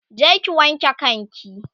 je ki wanke kan ki!